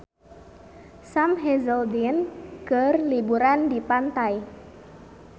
Sam Hazeldine keur liburan di pantai